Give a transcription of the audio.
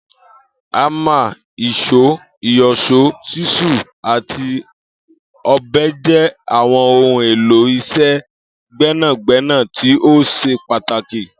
Ámà, ìs̩ó, ìyò̩s̩ó, s̩ísù àti ò̩be̩ jé̩ àwo̩n ohun èlò is̩é̩ gbé̩nàgbé̩nà tí ó s̩e pàtàkì